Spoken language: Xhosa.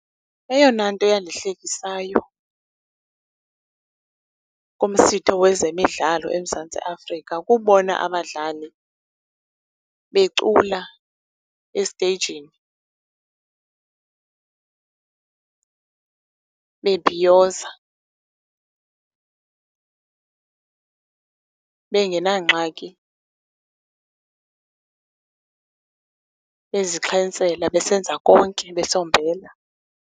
Eyona nto eyandihlekisayo kumsitho wezemidlalo eMzantsi Afrika kubona abadlali becula esteyijini bebhiyoza, bengenangxaki, bezixhentsela, besenza konke, besombela.